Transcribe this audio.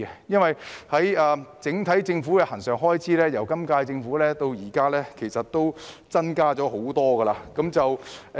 因為政府的整體恆常開支由本屆政府上任到現在已增加不少。